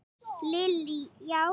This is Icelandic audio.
Lillý: Já?